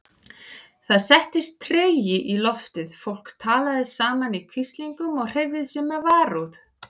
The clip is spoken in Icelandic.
Það settist tregi í loftið, fólk talaði saman í hvíslingum og hreyfði sig með varúð.